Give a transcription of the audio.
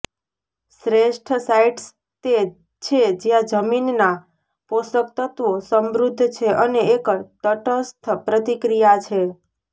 શ્રેષ્ઠ સાઇટ્સ તે છે જ્યાં જમીનના પોષકતત્વો સમૃદ્ધ છે અને એક તટસ્થ પ્રતિક્રિયા છે